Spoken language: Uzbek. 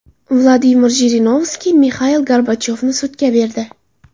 Vladimir Jirinovskiy Mixail Gorbachyovni sudga berdi .